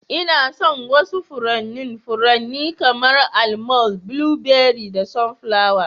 Ina son wasu furannin furanni kamar; Almond, blueberry da sunflower.